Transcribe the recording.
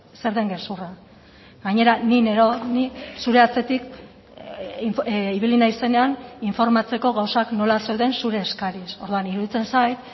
zer den gezurra gainera ni neroni zure atzetik ibili naizenean informatzeko gauzak nola zeuden zure eskariz orduan iruditzen zait